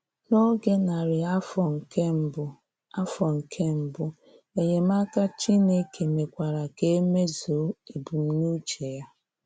N'oge narị afọ nke mbụ, afọ nke mbụ, enyemaka Chineke mekwara ka e mezuo ebumnuche ya.